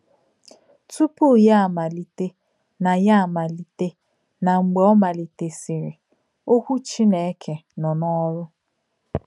Túpù Yà Àmàlítè nà Yà Àmàlítè nà Mgbe Ọ̀ Màlítèsìrì — Òkwù Chínèkè Nọ̀ n’Ọ̀rụ̀.